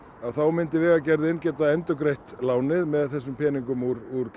myndi Vegagerðin geta endurgreitt lánið með þessum peningum úr